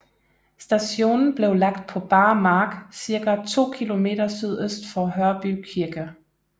Stationen blev lagt på bar mark ca 2 km sydøst for Hørby Kirke